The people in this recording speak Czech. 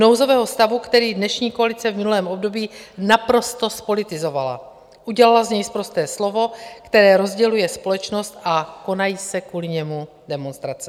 Nouzového stavu, který dnešní koalice v minulém období naprosto zpolitizovala, udělala z něj sprosté slovo, které rozděluje společnost a konají se kvůli němu demonstrace.